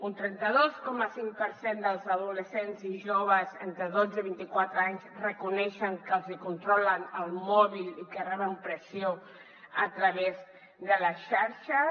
un trenta dos coma cinc per cent dels adolescents i joves entre dotze i vint i quatre anys reconeixen que els hi controlen el mòbil i que reben pressió a través de les xarxes